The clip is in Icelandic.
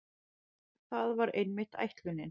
Það var einmitt ætlunin.